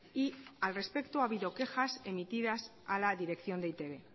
y al respecto ha habido quejas emitidas a la dirección de e i te be